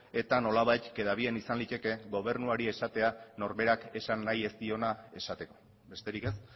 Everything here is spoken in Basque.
eta nolabait queda bien izan liteke gobernuari esatea norberak esan nahi ez diona esateko besterik ez